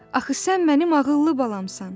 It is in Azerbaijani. Axı sən mənim ağıllı balamsan.